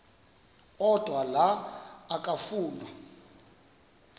odwa la okafuna